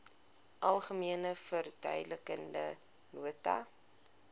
algemene verduidelikende nota